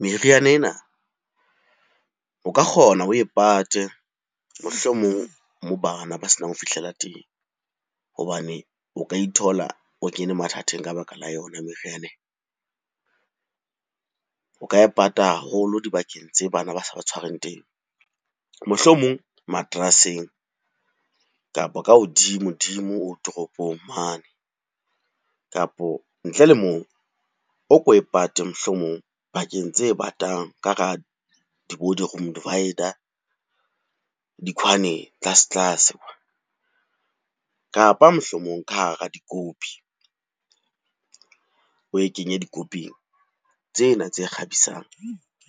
Meriana ena o ka kgona oe pate mohlomong moo bana ba se nang ho fihlela teng. Hobane o ka ithola o kene mathateng ka baka la yona meriana ena. O ka e pata haholo dibakeng tse bana ba sa ba tshwareng teng, mohlomong materaseng kapa ka hodimo-dimo wardrobe-ong mane Kapo ntle le moo, o ko e pate mohlomong pakeng tse batang ka hara bo di-room divider, di-corner-eng tlase-tlase. Kapa mohlomong ka hara dikopi, oe kenye dikoping tsena tse kgabisang